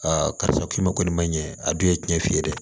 karisa k'i ma kɔni ma ɲɛ a dun ye cɛn ye dɛ